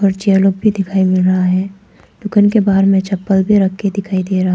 पीछे लोग भी दिखाई दे रहा है। दुकान के बाहर में चप्पल भी रखे दिखाई दे रहा --